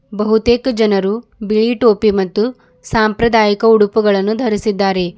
ಬಹುತೇಕ ಜನರು ಬಿಳಿ ಟೋಪಿ ಮತ್ತು ಸಂಪ್ರದಾಯಿಕ ಉಡುಪುಗಳನ್ನು ಧರಿಸಿದ್ದಾರೆ.